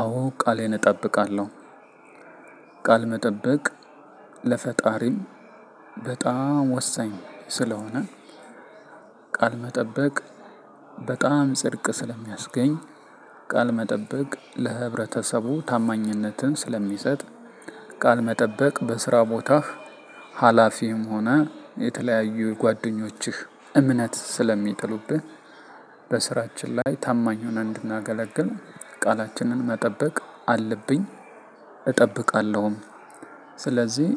አዎ ቃሌን እጠብቃለሁ። ቃል መጠበቅ ለፈጣሪም በጣም ወሳኝ ስለሆነ። ቃል መጠበቅ በጣም ጽድቅ ስለሚያስገኝ ቃል መጠበቅ ለህብረተሰቡ ታማኝነትን ስለሚሰጥ። ቃል መጠበቅ በስራ ቦታህ ሀላፊም ሆነህ የተለያዩ ጓደኞችህ እምነት ስለሚጥሉብህ። በስራችን ላይ ታማኙን እንድናገለግል ቃላችንን መጠበቅ አለብኝ እጠብቃለሁም። ስለዚህ